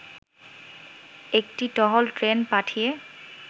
একটি টহল ট্রেন পাঠিয়ে